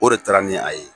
O de taara ni a ye